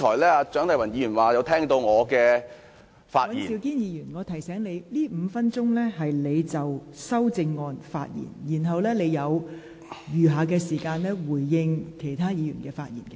尹兆堅議員，我想提醒你，這5分鐘時間是讓你就修正案發言，而你所餘的答辯時間則是讓你回應其他議員的發言。